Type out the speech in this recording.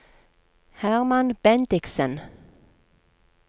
Hermann Bendiksen